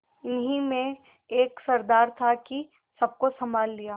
इन्हीं में एक सरदार था कि सबको सँभाल लिया